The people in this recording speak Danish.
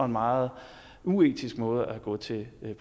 meget uetisk måde at gå til den